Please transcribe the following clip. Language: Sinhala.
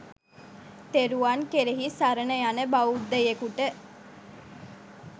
තෙරුවන් කෙරෙහි සරණ යන බෞද්ධයෙකුට